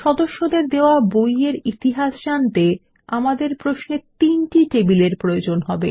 সদস্যদের দেওয়া বই য়ের ইতিহাস জানতে আমাদের প্রশ্নে তিনটি টেবিলের প্রয়োজন হবে